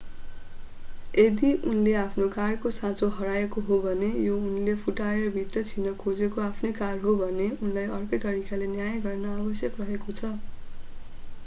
यदि उनले आफ्नो कारको साँचो हराएको हो भने र यो उनले फुटाएर भित्र छिर्न खोजेको आफ्नै कार हो भने उनलाई अर्कै तरिकाले न्याय गर्न आवश्यक रहेको छ